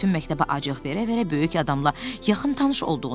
Bütün məktəbə acıq verə-verə böyük adamla yaxın tanış olduğunu göstərdi.